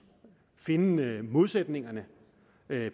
finde modsætningerne